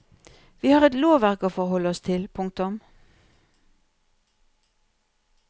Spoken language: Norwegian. Vi har et lovverk å forholde oss til. punktum